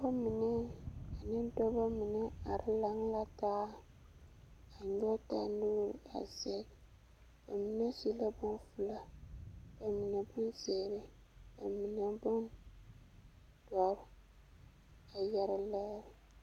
pɔgeba mine ane dɔba mine are laŋ la taa, a nyɔge taa nuuri a zɛge baminesu la bompelaa, ba mine bonzeere, bamine bondoɔre a yɛre lɛɛ.